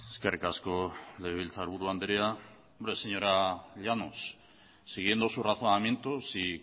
eskerrik asko legebiltzarburu andrea hombre señora llanos siguiendo su razonamiento si